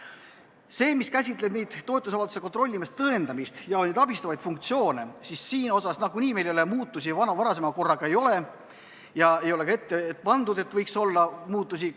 Selle kohta, mis käsitleb toetusavalduste kontrollimise tõendamist ja abistavaid funktsioone, meil varasema korraga võrreldes muutusi ei ole ega ole ka ette pandud seda, et võiks muutusi olla.